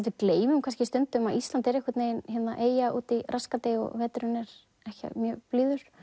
við gleymum stundum að Ísland er eyja úti í rassgati og veturinn er ekki mjög blíður